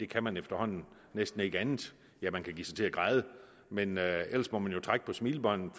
kan efterhånden næsten ikke andet ja man kan give sig til at græde men ellers må man jo trække på smilebåndet